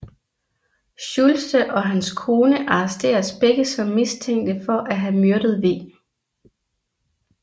Schultze og hans kone arresteres begge som mistænkte for at have myrdet v